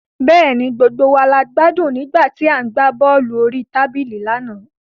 Bẹ́ẹ̀ni, gbogbo wa gbádùn nígbà tí a gbá bọ́ọ̀lù orí tábìlì lánàá